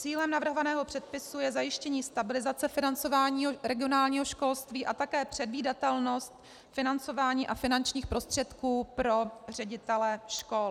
Cílem navrhovaného předpisu je zajištění stabilizace financování regionálního školství a také předvídatelnost financování a finančních prostředků pro ředitele škol.